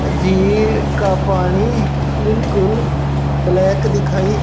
झील का पानी बिल्कुल ब्लैक दिखाई--